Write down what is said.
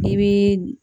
I bii